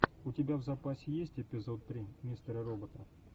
у тебя в запасе есть эпизод три мистера робота